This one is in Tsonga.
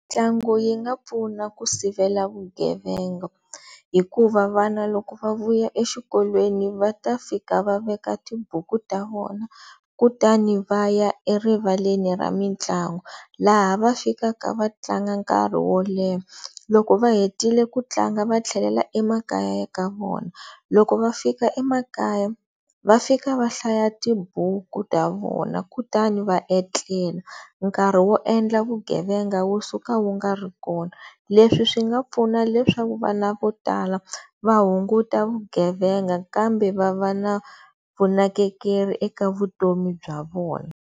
Mitlangu yi nga pfuna ku sivela vugevenga hikuva vana loko va vuya exikolweni va ta fika va veka tibuku ta vona kutani va ya erivaleni ra mitlangu laha va fikaka va tlanga nkarhi wo leha loko va hetile ku tlanga va tlhelela emakaya ya ka vona loko va fika emakaya, va fika va hlaya tibuku ta vona kutani va etlela nkarhi wo endla vugevenga wu suka wu nga ri kona leswi swi nga pfuna leswaku vana vo tala va hunguta vugevenga kambe va va na vunakekeri eka vutomi bya vona.